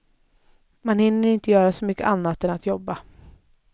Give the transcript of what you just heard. Man hinner inte göra så mycket annat än att jobba.